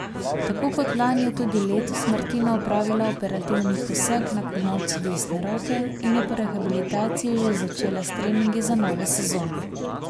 Tako kot lani je tudi letos Martina opravila operativni poseg na komolcu desne roke in je po rehabilitaciji že začela s treningi za novo sezono.